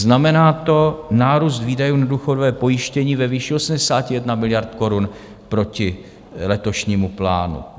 Znamená to nárůst výdajů na důchodové pojištění ve výši 81 miliard korun proti letošnímu plánu.